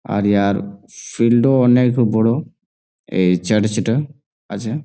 আর airfield -ও অনেক বড় | এই চার্চ -টা আছে ।